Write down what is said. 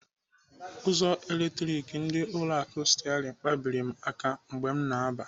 Ụzọ eletronik ndị ụlọ akụ Sterling kpabiri m aka mgbe m na-aba.